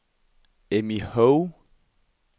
Emmy Hove